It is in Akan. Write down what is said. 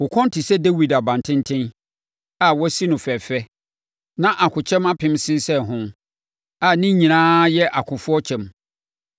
Wo kɔn te sɛ Dawid abantenten, a wɔasi no fɛɛfɛ; na akokyɛm apem sensɛn ho, a ne nyinaa yɛ akofoɔ kyɛm.